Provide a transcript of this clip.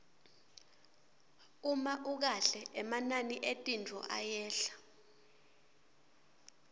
uma ukahle emanani etintfo ayehla